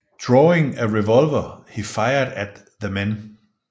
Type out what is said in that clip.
Drawing a revolver he fired at the men